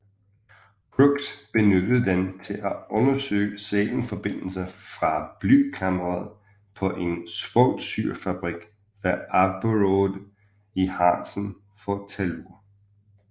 Crookes benyttede den til at undersøge selenforbindelser fra blykammeret på en svovlsyrefabrik ved Abberode i Harzen for tellur